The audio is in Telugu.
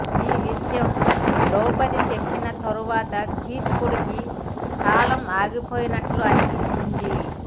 ఈ విషయం ద్రౌపది చెప్పిన తర్వాత కీచకుడికి కాలం ఆగిపోయినట్లు అనిపించింది